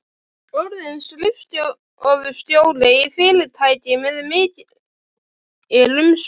Orðin skrifstofustjóri í fyrirtæki með mikil umsvif.